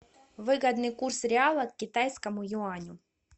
выгодный курс реала к китайскому юаню